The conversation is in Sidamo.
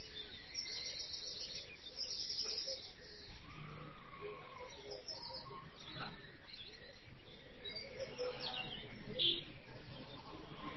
Dadhinoonni afoo mittu rosi gede rosiisa hedo soori’rate dandoo bowirsitanno Dadhinoonni afoo mittu rosi gede rosiisa hedo soori’rate dandoo bowirsitanno.